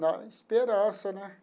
Na esperança, né?